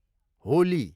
Holi